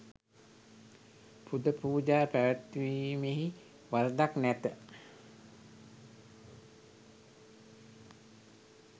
පුද පූජා පැවැත්වීමෙහි වරදක් නැත.